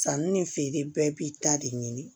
Sanni ni feere bɛɛ b'i ta de ɲini